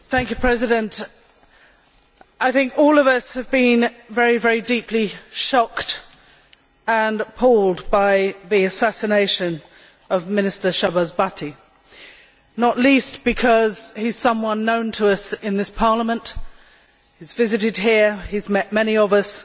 Mr President, I think all of us have been very deeply shocked and appalled by the assassination of Minister Shahbaz Bhatti, not least because he is someone known to us in this Parliament he has visited here, he has met many of us